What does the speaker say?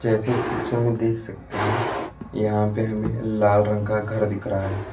जैसे इस पिक्चर में देख सकते हैं यहां पे हमें लाल रंग का घर दिख रहा है।